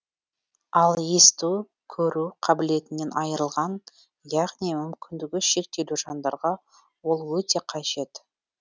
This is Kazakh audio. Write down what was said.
ал есту көру қабілетінен айырылған яғни мүмкіндігі шектеулі жандарға ол өте қажет